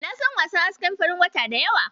Na san wasannin hasken farin wata da yawa.